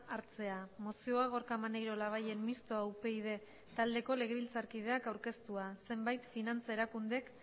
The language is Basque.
hartzea mozioa gorka maneiro labayen mistoa upyd taldeko legebiltzarkideak aurkeztua zenbait finantza erakundek